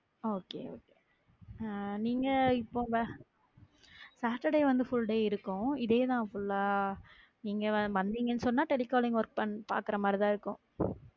Okay ஆஹ் நீங்க saturday வந்து full day இருக்கும் இதே தான் full ஆ நீங்க வந்தீங்கன்னு சொன்னா telecalling work கே பாக்குற மாதிரிதான் இருக்கும்